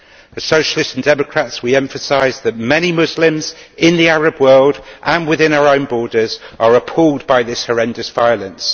As Socialists and Democrats we emphasise that many Muslims, in the Arab world and within our own borders, are appalled by this horrendous violence.